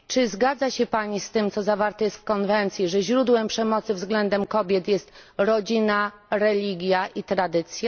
Czy zgadza się Pani z tym, co jest zawarte w konwencji, że źródłem przemocy względem kobiet jest rodzina, religia i tradycja?